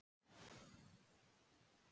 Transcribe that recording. Sammála um að lækka vexti